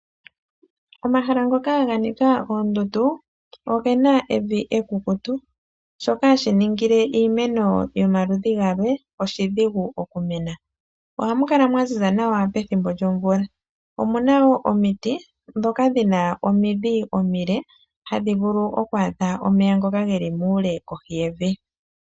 Omahala ngoka ga nika oondundu oge na evi ekukutu, shoka hashi ningile iimeno yomaludhi galwe oshidhigu oku mena. Oha mu kala mwa ziza nawa pethimbo lyomvula. Omu na woo omiti ndhoka dhina omindhi omile hadhi vulu okwaadha omeya ngoka ge li muule kohi yevi.